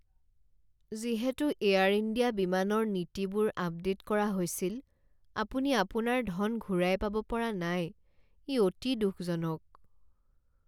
যিহেতু Air India বিমানৰ নীতিবোৰ আপডেট কৰা হৈছিল, আপুনি আপোনাৰ ধন ঘূৰাই পাব পৰা নাই, ই অতি দুখজনক।